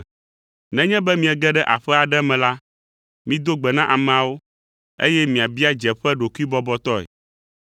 Nenye be miege ɖe aƒe aɖe me la, mido gbe na ameawo, eye miabia dzeƒe ɖokuibɔbɔtɔe.